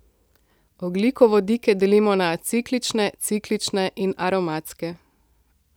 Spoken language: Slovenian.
Ogljikovodike delimo na aciklične, ciklične in aromatske.